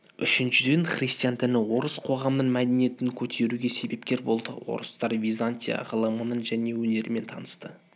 үшіншіден христиан діні орыс қоғамының мәдениетін көтеруге себепкер болды орыстар византия ғылымымен және өнерімен танысты